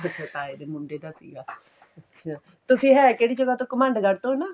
ਅੱਛਾ ਅੱਛਾ ਤਾਏ ਦੇ ਮੁੰਡੇ ਦਾ ਸੀਗਾ ਅੱਛਾ ਤੁਸੀਂ ਹੈ ਕਿਹੜੀ ਜਗਾਂ ਤੋ ਹੋ ਘੁਮੰਡਗੜ ਤੋਂ ਹਨਾ